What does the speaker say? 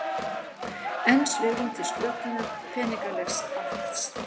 Enn svigrúm til slökunar peningalegs aðhalds